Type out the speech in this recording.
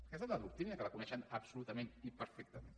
aquesta és la doctrina que la coneixem absolutament i perfectament